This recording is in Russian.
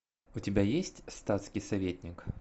у тебя есть статский советник